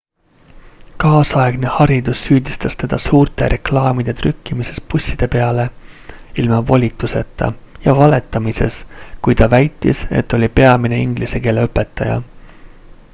kaasaegne haridus süüdistas teda suurte reklaamide trükkimises busside peale ilma volituseta ja valetamises kui ta väitis et ta oli peamine inglise keele õpetaja